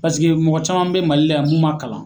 Paseke mɔgɔ caman be mali la yan mun ma kalan